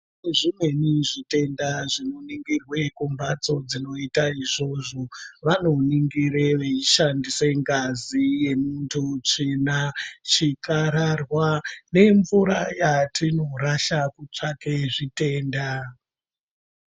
Zvimweni zvitenda zvinoningirwa kumbatso dzinoita izvozvo vanoningira veishandisa ngazi yemuntu tsvina chikararwa nemvura yatinorasha kutsvake zvitenda.